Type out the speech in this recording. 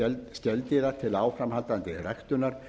skeldýra til áframhaldandi ræktunar